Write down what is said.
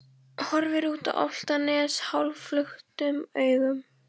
Horfir út á Álftanes hálfluktum augum.